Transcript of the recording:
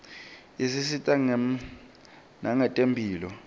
isisita nangetemphilo